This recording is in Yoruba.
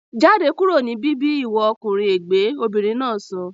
Jáde kúrò ní bíbí ìwọ ọkùnrin ègbẹ́! Obìnrin náà sọ